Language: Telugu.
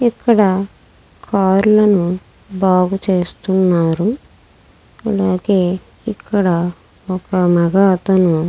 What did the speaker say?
ఇక్కడ కార్లను బాగు చేస్తున్నారు అలాగే ఇక్కడ ఒక మగ అతను.